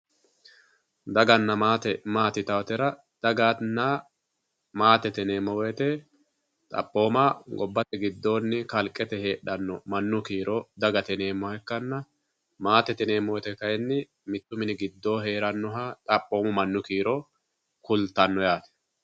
daganna maate maati yitaatera ,daganna maatete yinaytera xaphooma gobbate giddoonni kalqete heedhanno mannu kiiro dagate yineemmoha ikkanna, maatete yineemmo woyte kayinni mittu mini giddonni hee'rannoha xaphoomu mannu kiiro kultanno yaate.